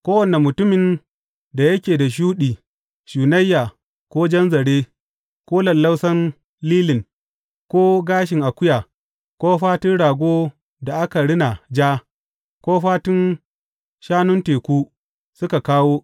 Kowane mutumin da yake da shuɗi, shunayya ko jan zare, ko lallausan lilin, ko gashin akuya, ko fatun rago da aka rina ja, ko fatun shanun teku, suka kawo.